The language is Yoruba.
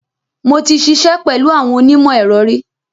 Mo ti ṣiṣẹ́ pẹ̀lú àwọn onímọ̀-ẹ̀rọ ri.